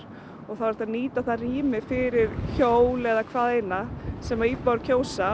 og þá er hægt að nýta það rými fyrir hjól eða hvaðeina sem íbúar kjósa